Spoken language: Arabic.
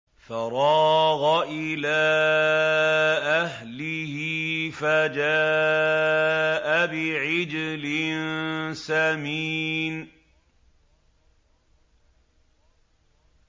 فَرَاغَ إِلَىٰ أَهْلِهِ فَجَاءَ بِعِجْلٍ سَمِينٍ